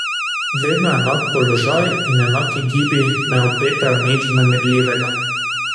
Vedno enak položaj in enaki gibi ne obetajo nič vznemirljivega.